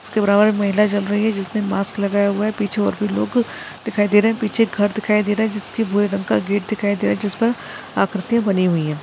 उसके बराबर एक महिला चल रही है जिसने मास्क लगाया हुआ है पीछे और भी लोग दिखाई दे रहे है पीछे घर दिखाई दे रहा है जिसके भुरे रंग का गेट दिखाई दे रहा है जिस पर आकृतीया बनी हुई है।